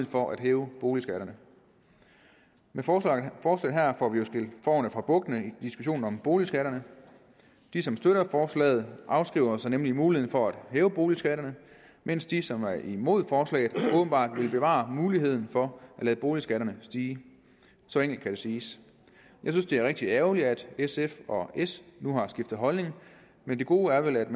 for at hæve boligskatterne med forslaget her får vi jo skilt fårene fra bukkene i diskussionen om boligskatterne de som støtter forslaget afskriver sig nemlig muligheden for at hæve boligskatterne mens de som er imod forslaget åbenbart vil bevare muligheden for at lade boligskatterne stige så enkelt kan det siges jeg synes det er rigtig ærgerligt at sf og s nu har skiftet holdning men det gode er vel at